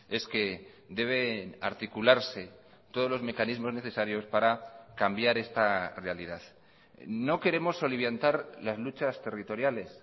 es que debe articularse todos los mecanismos necesarios para cambiar esta realidad no queremos soliviantar las luchas territoriales